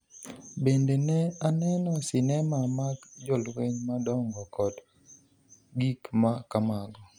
Bende, ne aneno sinema mag jolweny madongo kod gik ma kamago.